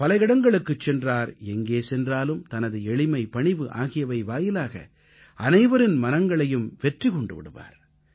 பல இடங்களுக்குச் சென்றார் எங்கே சென்றாலும் தனது எளிமை பணிவு ஆகியவை வாயிலாக அனைவரின் மனங்களையும் வெற்றி கொண்டு விடுவார்